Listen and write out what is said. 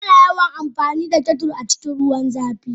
Ana yawan amfani da kettles a cikin ruwan zafi.